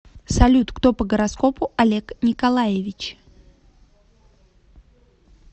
салют кто по гороскопу олег николаевич